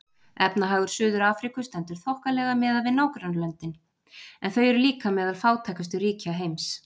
Efnahagur Suður-Afríku stendur þokkalega miðað við nágrannalöndin en þau eru líka meðal fátækustu ríkja heims.